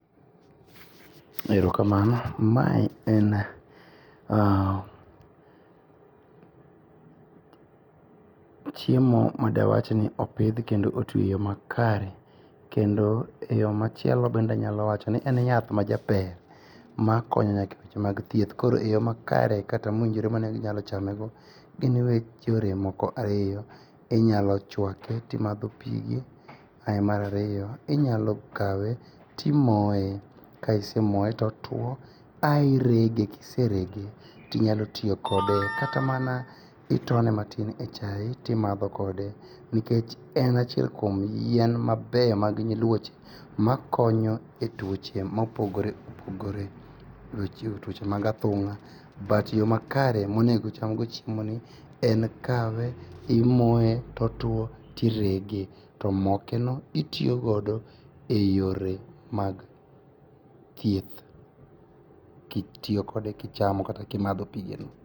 Erokamano. Mae en chiemo madawachni opidh kendo otwio makare kendo eyoo machielo bende anyalo wachoni en yath majaber makonyo nyaka e tich mag thieth, koro yoo makare kata mowinjore mainyalo chamego gin weg yore moko ariyo. Inyalo chuake timadho pige ae mar ariyo, inyalo kawe timoye, kaisemoye totuo ae irege, kiserege tinyalotiyo kode kata mana itone matin e chae timadho kode nikech en achiel kuom yien mabeyo mag nyiluoche makonyo e tuoche mopogoreopogore ,tuoche mag athung'a yoo makare monego ochamgo chiemoni en kawe timoye totuo tirege tomokeno itiyogodo e yore mag thieth kitiyo kode kichamo kata kimodho pigeno.